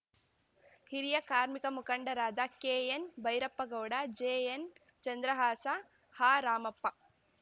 ಹಿರಿಯ ಕಾರ್ಮಿಕ ಮುಖಂಡರಾದ ಕೆಎನ್‌ಭೈರಪ್ಪಗೌಡ ಜೆಎನ್‌ ಚಂದ್ರಹಾಸ ಹಾ ರಾಮಪ್ಪ